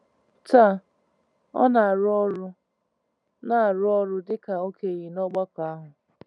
Taa, ọ na-arụ ọrụ na-arụ ọrụ dịka okenye n’ọgbakọ ahụ.